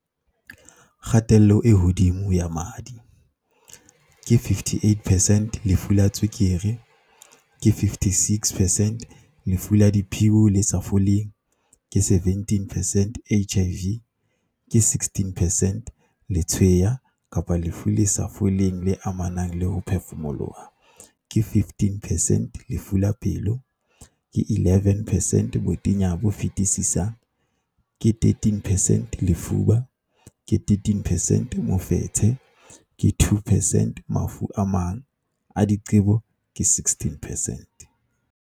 Kgatello e hodimo ya madi, ke 58 percent Lefu la tswekere, ke 56 percent Lefu la diphio le sa foleng, ke 17 percent HIV, ke 16 percent Letshweya kapa lefu le sa foleng le amanang le ho phefumoloha, ke 15 percent Lefu la pelo, ke 11 percent Botenya bo fetisisang, ke 13 percent Lefuba, ke 13 percent Mofetshe, ke 2 percent Mafu a mang a diqebo, ke 16 percent.